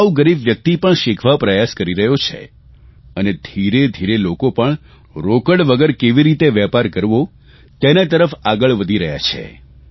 સાવ ગરીબ વ્યકિત પણ શીખવા પ્રયાસ કરી રહ્યો છે અને ધીરેધીરે લોકો પણ રોકડ વગર કેવી રીતે વેપાર કરવો તેના તરફ આગળ વધી રહ્યા છે